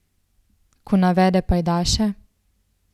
Ko navede pajdaše?